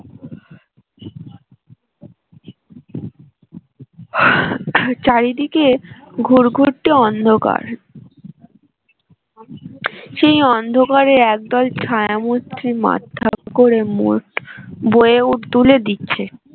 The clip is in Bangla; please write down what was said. চারিদিকে ঘুটঘুটে অন্ধকার সেই অন্ধকারে একদল ছায়ামূর্তি করে মোট বয়ে তুলে দিচ্ছে